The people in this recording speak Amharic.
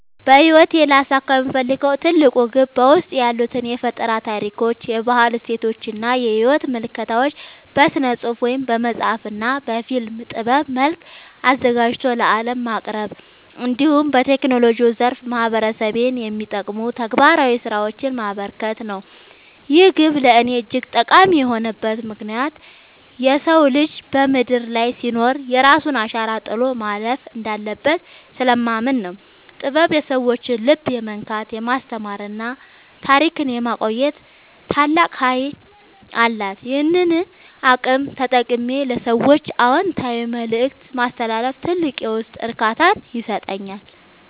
በሕይወቴ ሊያሳካው የምፈልገው ትልቁ ግብ በውስጤ ያሉትን የፈጠራ ታሪኮች፣ የባህል እሴቶችና የሕይወት ምልከታዎች በሥነ-ጽሑፍ (በመጽሐፍ) እና በፊልም ጥበብ መልክ አዘጋጅቶ ለዓለም ማቅረብ፣ እንዲሁም በቴክኖሎጂው ዘርፍ ማኅበረሰቤን የሚጠቅሙ ተግባራዊ ሥራዎችን ማበርከት ነው። ይህ ግብ ለእኔ እጅግ ጠቃሚ የሆነበት ምክንያት የሰው ልጅ በምድር ላይ ሲኖር የራሱን አሻራ ጥሎ ማለፍ እንዳለበት ስለማምን ነው። ጥበብ የሰዎችን ልብ የመንካት፣ የማስተማርና ታሪክን የማቆየት ታላቅ ኃይል አላት፤ ይህንን አቅም ተጠቅሜ ለሰዎች አዎንታዊ መልእክት ማስተላለፍ ትልቅ የውስጥ እርካታን ይሰጠኛል።